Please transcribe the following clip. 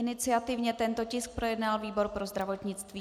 Iniciativně tento tisk projednal výbor pro zdravotnictví.